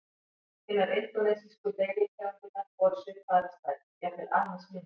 Hinar indónesísku deilitegundirnar voru svipaðar að stærð, jafnvel aðeins minni.